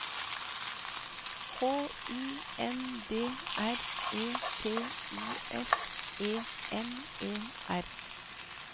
H U N D R E T U S E N E R